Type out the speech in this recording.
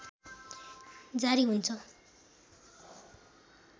जारी हुन्छ